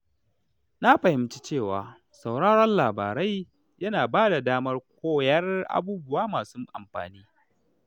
Na fahimci cewa sauraron labarai yana bada damar koyon abubuwa masu amfani.